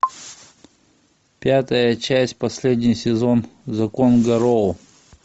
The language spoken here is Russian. пятая часть последний сезон закон гарроу